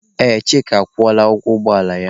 Ee, Chika akwụọla ụgwọ ụgbọ ala ya.